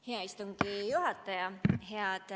Hea istungi juhataja!